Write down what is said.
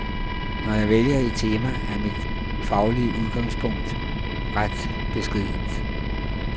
Når jeg vælger et tema, er mit faglige udgangspunkt ret beskedent.